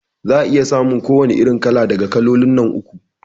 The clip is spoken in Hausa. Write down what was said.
Za'a iya samun ko wani irin kala daga kalolin nan uku